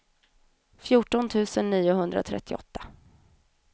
fjorton tusen niohundratrettioåtta